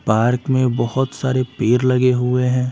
Park में बहुत सारे पेर लगे हुए हैं।